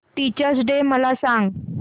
teachers day मला सांग